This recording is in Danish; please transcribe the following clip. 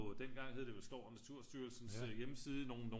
Dengang hed det vel Skov- og Naturstyrelsens hjemmeside nogle